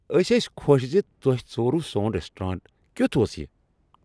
ٲسۍ ٲسۍ خۄش زِ تۄہہ ژوروٕ سون ریسٹوران کیتھ اوس یہ؟